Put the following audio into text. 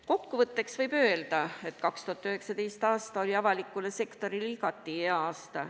Kokkuvõtteks võib öelda, et 2019. aasta oli avalikule sektorile igati hea aasta.